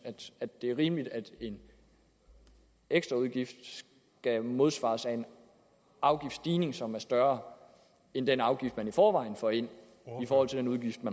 at det er rimeligt at en ekstraudgift skal modsvares af en afgiftsstigning som er større end den afgift man i forvejen får ind i forhold til den udgift